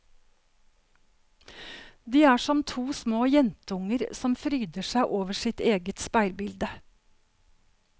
De er som to små jenteunger som fryder seg over sitt eget speilbilde.